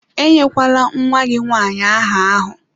Enyekwala nwa gị nwanyị áhà ahụ!